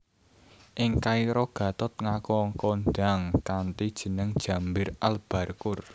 Ing Kairo Gatot ngaku kondhang kanthi jeneng Jambir Al Barqur